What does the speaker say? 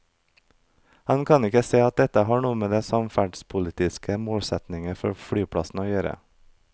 Han kan ikke se at dette har noe med de samferdselspolitiske målsetninger for flyplassen å gjøre.